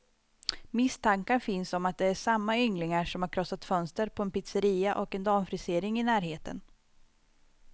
Misstankar finns om att det är samma ynglingar som har krossat fönster på en pizzeria och en damfrisering i närheten.